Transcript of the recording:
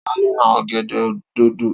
Ta ló ra ọ̀gẹ̀dẹ̀ dòdò?